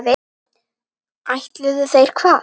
Ætluðu þeir hvað?